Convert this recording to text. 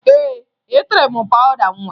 Ee, etere m pawụda nwa